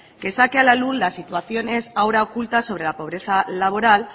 que saque a la luz las situaciones ahora ocultas sobre la pobreza laboral